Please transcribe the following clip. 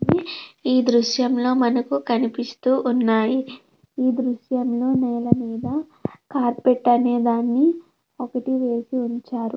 ఈ దృశ్యం లో మనకు కనిపిస్తూ ఉన్నాయి. ఈ దృశ్యంలో ఈ నేల మీద కార్బెట్ అనేదాన్ని ఒకటి వేసి ఉంచారు.